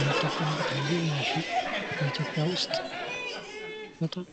የሚጠቀሙበት ይህው ማሽን በኢትዮጽያ ውስጥ በጣም